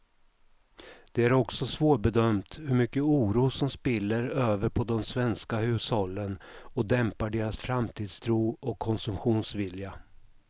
Det är också svårbedömt hur mycket oro som spiller över på de svenska hushållen och dämpar deras framtidstro och konsumtionsvilja.